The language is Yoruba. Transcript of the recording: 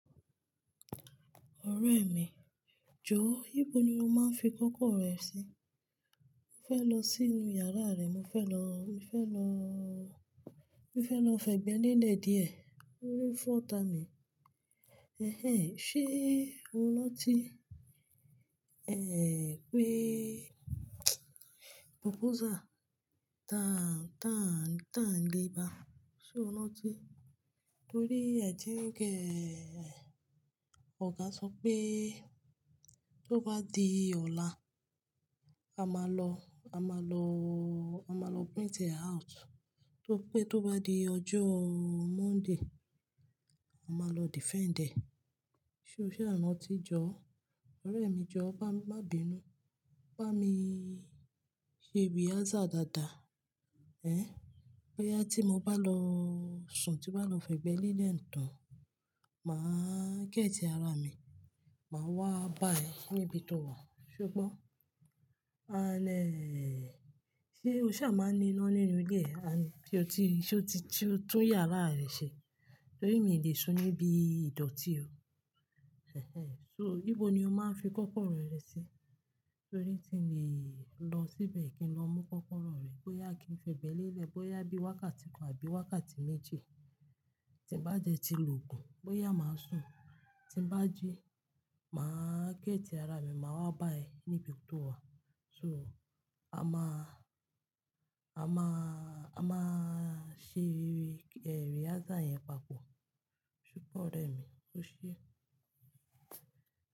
Ọ̀rẹ́ mi, jọ̀ọ́, íbo ni o máa ń fi kọ́kọ́rọ́ rẹ sí? Mo fẹ́ lọ sínú yàrá rẹ, mo fẹ́ lọ, mo fẹ́ lọ, mo fẹ́ lọ fẹ̀gbẹ́ lele díẹ̀, orí fọ́ta mi. Ẹ̀hẹ̀n, ṣe o ranti, ẹ́hn pé proposal tán, tán, tán le bá. Ṣé o ranti? Torí ẹ́ ji gẹ́, ọ̀gá sọ pé tó bá di ọ̀la, a máa lọ, a máa lọ o, a máa lọ print e out. Tóripé tó bá di ọjọ́ o Monday, a máa lọ defend ẹ̀. Ṣé o ṣa ranti jọ̀ọ́? Ọ̀rẹ́ mi jọ̀ọ́, bá mi, má binú. Bá mi ṣe rehearsal dáadáa. Ẹ̀n, bóyá tí mo bá lọ o sùn, tí mo bá lọ fẹ̀gbẹ́ lẹ̀ le tán, màá géètì ara mi, màá wá bá ẹ níbi tó wà. Ṣe o gbọ́? An e, ṣe o ṣa máa ń ní iná nínú ilé ẹ? An ṣe o ti, ṣe o ti tún tun yàrá rẹ ṣe? Torí mi ò lè ṣún níbi ìdọ̀tí o. Ẹ̀hẹ̀n, so níbo ni o máa ń fi kọ́kọ́rọ́ rẹ sí? Torí ti mi ọ lo síbẹ̀ kí n lọ mú kọ́kọ́rọ́ rẹ, bóyá kí n fẹ̀gbẹ́ lelẹ̀, bóyá bí wákàtí kan àbí wákàtí méji. Tí n bá d ti lògùn, bóyá màá sùn. Tí n bá jí, màá géètì ara mi, màá wá bá ẹ níbi tó wà. So a máa aa, a máa aa, a máa aa ṣe ehn rehearsal yẹn papọ̀. Ṣogbo ọ̀rẹ́ mi o ṣe?